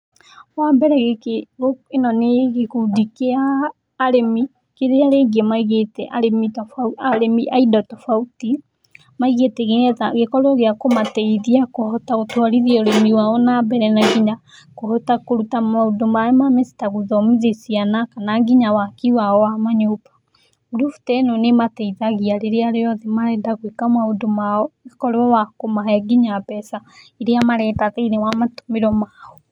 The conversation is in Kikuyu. Wambere gĩkĩ ĩno nĩ gĩkundi kĩa arĩmi kĩrĩa rĩngĩ maigĩte arĩmi a indo tofauti, maigĩte nĩgetha gĩkorwo gĩa kũmateithia kũhota gũtwarithia ũrĩmi wao na mbere na nginya kũhota kũruta maũndũ mao ma mĩciĩ ta guthomithia ciana na nginya waki wao wa manyũmba. Ngũrubu ta ĩno nĩ ĩmateithagia rĩrĩa rĩothe marenda gwĩka maũndũ mao ĩgakorwo ya kũmahe nginya mbeca iria marenda thĩinĩ wa matũmĩro mao.